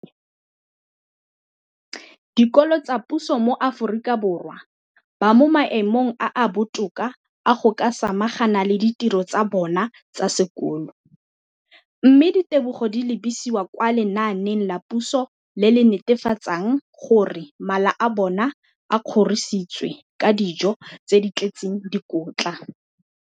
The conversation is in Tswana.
Dikolo tsa puso mo Aforika Borwa ba mo maemong a a botoka a go ka samagana le ditiro tsa bona tsa sekolo, mme ditebogo di lebisiwa kwa lenaaneng la puso le le netefatsang gore mala a bona a kgorisitswe ka dijo tse di tletseng dikotla.